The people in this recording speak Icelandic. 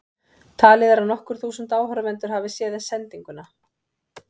Talið er að nokkur þúsund áhorfendur hafi séð sendinguna.